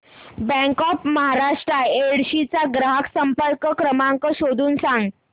bank of Maharashtra Yedshi चा ग्राहक संपर्क क्रमांक शोधून सांग